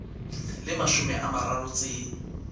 le mashome a mararo tse